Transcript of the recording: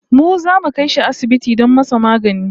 Mu zamu kai shi asibiti don masa magani